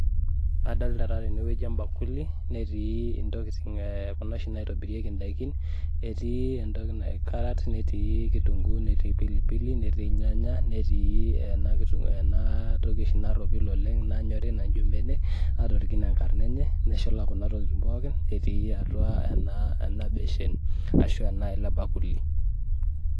Adolta taa tenewueji ebakuli, netii intokiting kuna oshi naitobirieki idaikin, etii carrot netii kitunkuu, netii pilipili, netii irnyanya, netii enatoki oshi narropil oleng nayori naijo benek, atorikine enkarna enye, neshula kuna tokiting pookin, etii atua ena, ena beshen, ashu atua ele bakuli.